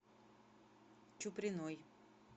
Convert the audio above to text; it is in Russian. чуприной